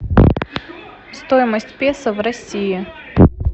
стоимость песо в россии